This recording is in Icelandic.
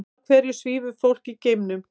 Af hverju svífur fólk í geimnum?